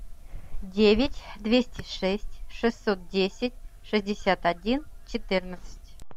девять двести шесть шестьсот десять шестьдесят один четырнадцать